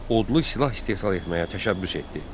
Odlu silah istehsal etməyə təşəbbüs etdi.